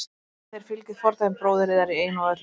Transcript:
Við viljum að þér fylgið fordæmi bróður yðar í einu og öllu.